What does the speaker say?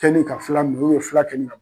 Kɛli ka fula fula